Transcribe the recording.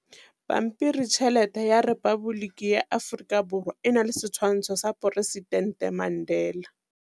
Pampiritšheletê ya Repaboliki ya Aforika Borwa e na le setshwantshô sa poresitentê Mandela.